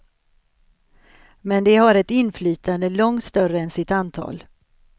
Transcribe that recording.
Men de har ett inflytande långt större än sitt antal.